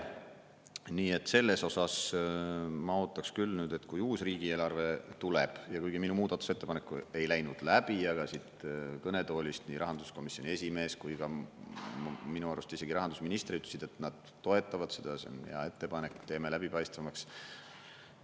Nii et selles osas ma ootaks küll, et kui uus riigieelarve tuleb, kuigi minu muudatusettepanek ei läinud läbi, aga siit kõnetoolist nii rahanduskomisjoni esimees kui ka minu arust isegi rahandusminister ütlesid, et nad toetavad seda ja see on hea ettepanek, teeme läbipaistvamaks.